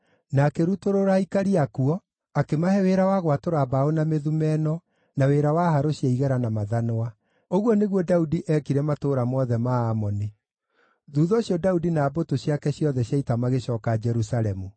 na akĩrutũrũra aikari akuo, akĩmahe wĩra wa gwatũra mbaũ na mĩthumeno, na kũruta wĩra na harũ cia igera na mathanwa. Ũguo nĩguo Daudi eekire matũũra mothe ma Amoni. Thuutha ũcio Daudi na mbũtũ ciake ciothe cia ita magĩcooka Jerusalemu.